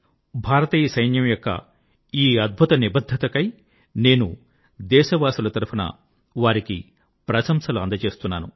భారతీయ సైన్యం యొక్క ఈ అద్భుత నిబద్ధత కై నేను దేశవాసుల తరఫున వారికి ప్రశంసలు అందజేస్తున్నాను